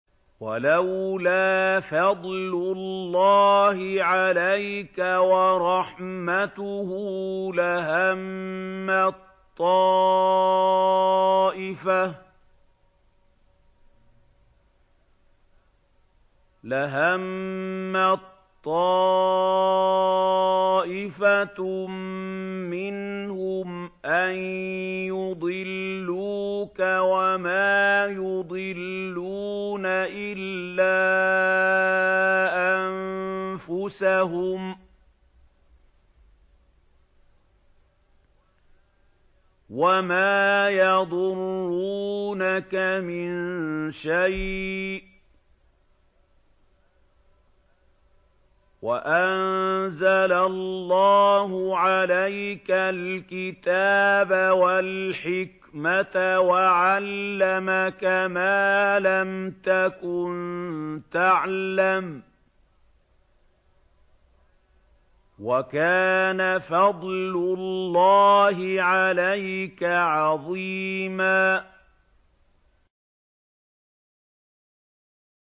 وَلَوْلَا فَضْلُ اللَّهِ عَلَيْكَ وَرَحْمَتُهُ لَهَمَّت طَّائِفَةٌ مِّنْهُمْ أَن يُضِلُّوكَ وَمَا يُضِلُّونَ إِلَّا أَنفُسَهُمْ ۖ وَمَا يَضُرُّونَكَ مِن شَيْءٍ ۚ وَأَنزَلَ اللَّهُ عَلَيْكَ الْكِتَابَ وَالْحِكْمَةَ وَعَلَّمَكَ مَا لَمْ تَكُن تَعْلَمُ ۚ وَكَانَ فَضْلُ اللَّهِ عَلَيْكَ عَظِيمًا